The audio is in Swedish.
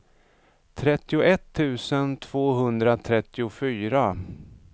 trettioett tusen tvåhundratrettiofyra